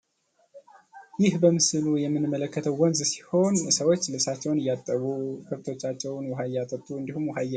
ይህ በምስሉ የምንመለከተው ወንዝ ሲሆን ሰዎች ልብሳቸውን እያጠቡ ሰዎች ልብሳቸውን እያጠቡ ከብቶቻቸውን ውሃ እያጠጡ እንዲሁም ውሃ እየቀዱ